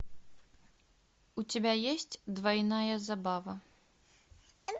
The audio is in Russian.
у тебя есть двойная забава